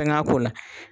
Fɛn ŋa ko la